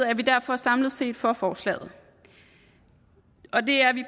er vi derfor samlet set for forslaget det er vi